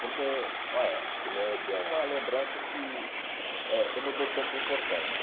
Porque, ó, é. Primeiro que é uma lembrança que eh eu não dou tanta importância.